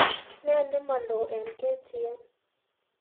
Ne nemalo eng k.t.n